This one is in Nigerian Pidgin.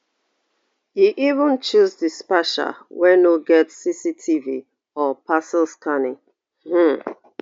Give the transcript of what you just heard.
e even choose dispatcher wey no get cctv or parcel scanning um